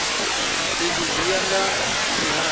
izwi zwi ya nga mihasho